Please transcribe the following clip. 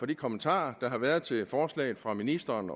de kommentarer der har været til forslaget fra ministeren